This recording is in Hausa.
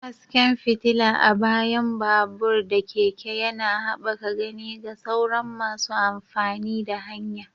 Hasken fitila a bayan babur/keke yana haɓaka gani ga sauran masu amfani da hanya.